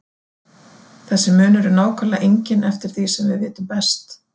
Þessi munur er nákvæmlega enginn eftir því sem við vitum best.